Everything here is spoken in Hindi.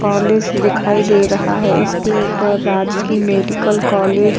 कॉलेज दिखाई दे रहा है। इसके ऊपर राजकीय मेडिकल कॉलेज --